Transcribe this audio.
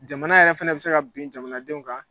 Jamana yɛrɛ fɛnɛ bɛ se ka bin jamanadenw kan